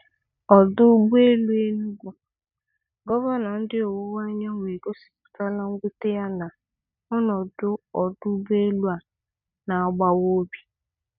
Ọdọ ụgbọelu Enugu: Gọvanọ ndị ọwụwa-anyanwụ egosipụtala nwute ya na ọnọdụ ọdụ ụgbọelụ a na-agbawa obi